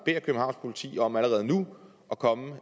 københavns politi om allerede nu at komme